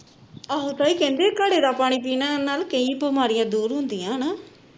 ਆਹੋ ਤਾਈ ਕਹਿੰਦੇ ਘੜੇ ਦਾ ਪਾਣੀ ਪੀਣ ਨਾਲ ਕਈ ਬਿਮਾਰੀਆਂ ਦੂਰ ਹੁੰਦੀਆਂ ਹਣਾ